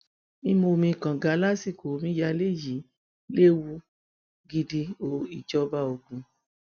mímú omi kànga lásìkò omíyalé yìí léwu gidi o ìjọba ogun